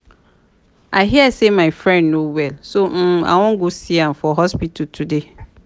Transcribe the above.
i hear say my friend no well so um i wan go see am for hospital today